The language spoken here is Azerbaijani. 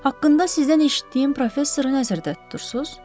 Haqqında sizdən eşitdiyim professoru nəzərdə tutursuz?